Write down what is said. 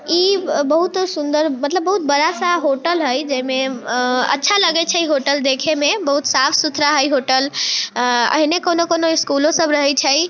इ बहुत सुन्दर मतलब बहुत बड़ा-सा होटल हेय जेमेे आ अच्छा लगय छै होटल देखे में बहुत साफ सुथरा हेय होटल आ एहने कउनो-कउनो स्कूलों सब रहय छै।